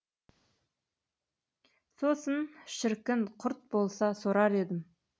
сосын шіркін құрт болса сорар едім